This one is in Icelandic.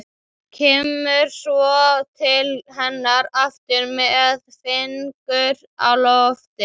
Kemur svo til hennar aftur með fingur á lofti.